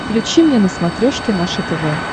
включи мне на смотрешке наше тв